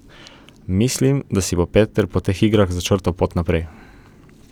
Mislim, da si bo Peter po teh igrah začrtal pot naprej.